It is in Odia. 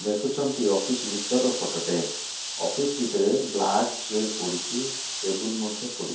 ଦେଖୁଛନ୍ତି ଅଫିସ ଭିତର ର ଫୋଟ ଟେ ଅଫିସ ଭିତରେ ବ୍ଲାକ ଚେୟାର ପଡ଼ିଛି ଟେବୁଲ ମଧ୍ୟ ପଡି --